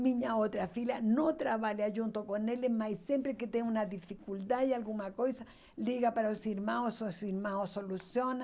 Minha outra filha não trabalha junto com eles, mas sempre que tem uma dificuldade, alguma coisa, liga para os irmãos, os irmãos solucionam.